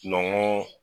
Nɔgɔn